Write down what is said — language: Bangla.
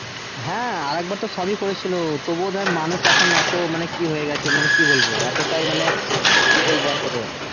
হ্যাঁ আরেক বের তো সবই করেছিল তবু ধরে মানুষ এখন এতো মানে এখন কি হয়েগেছে মানে কি বলবো মানে এতটাই মানে কি বলবো আর তোকে।